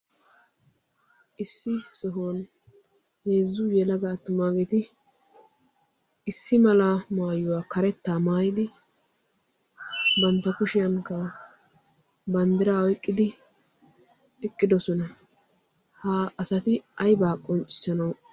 issi sohuwan heezzu yelaga attumaageti issi mala maayuwaa karettaa maayidi bantta kushiyankka banddira oyqqidi eqqidosona. ha asati aybaa qonccissanawu?